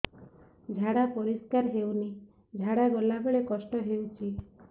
ଝାଡା ପରିସ୍କାର ହେଉନି ଝାଡ଼ା ଗଲା ବେଳେ କଷ୍ଟ ହେଉଚି